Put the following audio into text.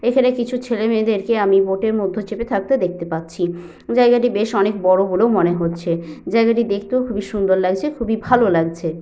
এখানে কিছু ছেলে মেয়েদের কে আমি বোটের মধ্যে চেপে থাকতেও দেখতে পাচ্ছি জায়গাটি বেশ অনেক বড় বলেও মনে হচ্ছে জায়গাটি দেখতেও খুবই সুন্দর লাগছে খুবই ভালো লাগছে।